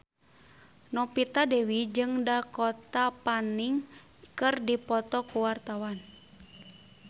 Novita Dewi jeung Dakota Fanning keur dipoto ku wartawan